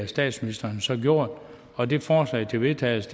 statsministeren så gjort og det forslag til vedtagelse